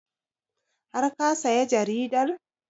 Har ka saya jaridar?